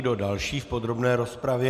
Kdo další v podrobné rozpravě?